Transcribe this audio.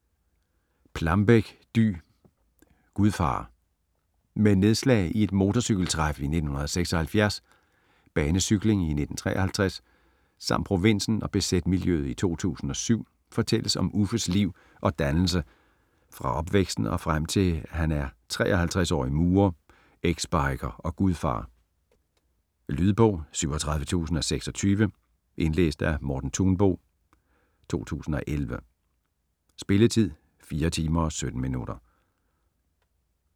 Plambeck, Dy: Gudfar Med nedslag i et motorcykeltræf i 1976, banecykling i 1953 samt provinsen og bz-miljøet i 2007 fortælles om Uffes liv og dannelse fra opvæksten og frem til han er 53-årig murer, exbiker og gudfar. Lydbog 37026 Indlæst af Morten Thunbo, 2011. Spilletid: 4 timer, 17 minutter.